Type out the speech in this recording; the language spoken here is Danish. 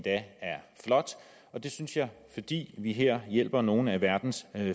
er flot og det synes jeg fordi vi her hjælper nogle af verdens